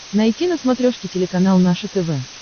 найти на смотрешке телеканал наше тв